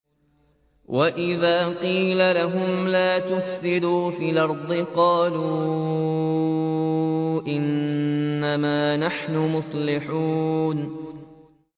وَإِذَا قِيلَ لَهُمْ لَا تُفْسِدُوا فِي الْأَرْضِ قَالُوا إِنَّمَا نَحْنُ مُصْلِحُونَ